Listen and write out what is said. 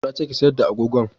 Na ce ki sayar da agogon!